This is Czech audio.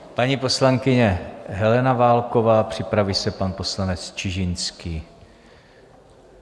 Paní poslankyně Helena Válková, připraví se pan poslanec Čižinský.